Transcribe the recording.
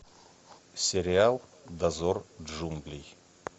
сериал дозор джунглей